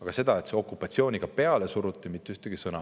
" Aga sellest, et okupatsiooniga peale suruti, ei räägita mitte ühtegi sõna.